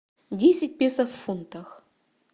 десять песо в фунтах